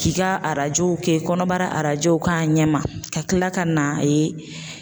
K'i ka arajow kɛ kɔnɔbara arajow k'a ɲɛma ka kila ka n'a ye